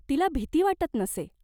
तिला भीती वाटत नसे.